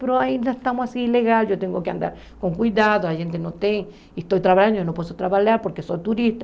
Mas ainda estamos assim ilegal, eu tenho que andar com cuidado, a gente não tem, estou trabalhando, eu não posso trabalhar porque sou turista.